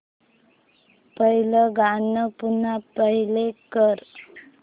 पहिलं गाणं पुन्हा प्ले कर